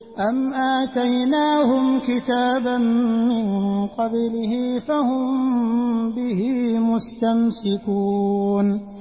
أَمْ آتَيْنَاهُمْ كِتَابًا مِّن قَبْلِهِ فَهُم بِهِ مُسْتَمْسِكُونَ